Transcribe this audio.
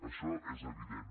això és evident